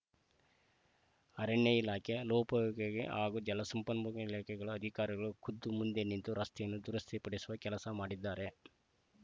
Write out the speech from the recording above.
ಅರಣ್ಯ ಇಲಾಖೆ ಲೋಪಯಾಗೊಗಿ ಹಾಗೂ ಜಲಸಂಪನ್ಮೂಲ ಇಲಾಖೆಗಳ ಅಧಿಕಾರಿಗಳು ಖುದ್ಧು ಮುಂದೆ ನಿಂತು ರಸ್ತೆಯನ್ನು ದುರಸ್ತಿ ಪಡಿಸುವ ಕೆಲಸ ಮಾಡಿದ್ದಾರೆ